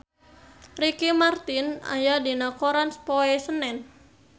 Ricky Martin aya dina koran poe Senen